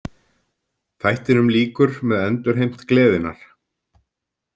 Þættinum lýkur með endurheimt gleðinnar.